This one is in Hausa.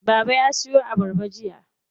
Baba ya siyo abarba jiya.